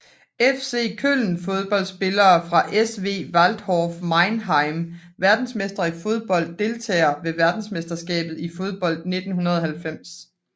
FC Köln Fodboldspillere fra SV Waldhof Mannheim Verdensmestre i fodbold Deltagere ved verdensmesterskabet i fodbold 1990